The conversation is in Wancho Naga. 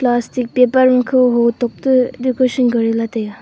plastic paper makhe hotok toh decoration kori lah ley tai a.